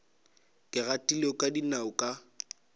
ke gatile ka dinao ka